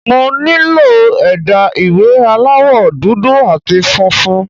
Mo nílò ẹ̀dà ìwé aláwọ̀ dúdú àti funfun.